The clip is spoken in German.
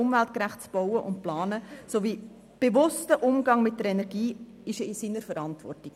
Umweltgerechtes Bauen und Planen sowie der bewusste Umgang mit der Energie liegen in seiner Verantwortung.